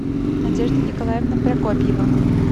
надежда николаевна прокопьева